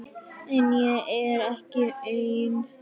En ég er ekki einn.